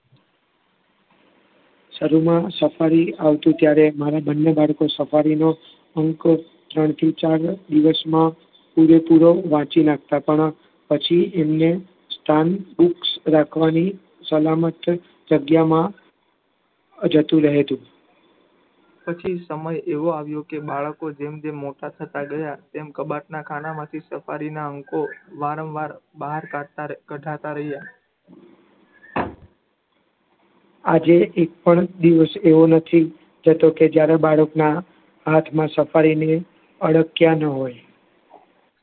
આજે એકપણ દિવસ એવો નથી કેતો કે જયારે બાળકના હાથમાં safari ને અડક્યા જ ન હોય